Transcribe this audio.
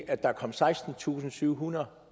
at der kom sekstentusinde og syvhundrede